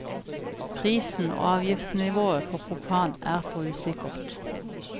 Prisen og avgiftsnivået på propan er for usikkert.